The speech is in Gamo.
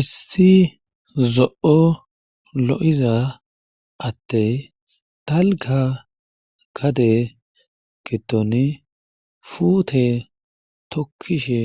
Issi zo7o lo7iza adey dalgga gade giddoni fuute tokkishe